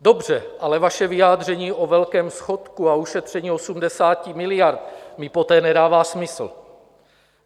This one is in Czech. Dobře, ale vaše vyjádření o velkém schodku a ušetření 80 miliard mi poté nedává smysl.